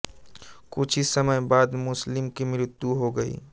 कुछ ही समय बाद मुस्लिम की मृत्यु हो गई